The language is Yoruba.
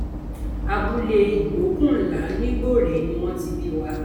abúlé ìgbókùnlá nigbore ni wọn ti bí wa